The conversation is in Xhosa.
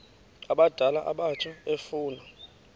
abadala abatsha efuna